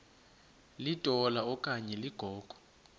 litola okanye ligogo